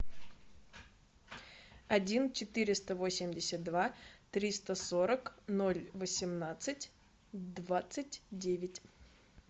один четыреста восемьдесят два триста сорок ноль восемнадцать двадцать девять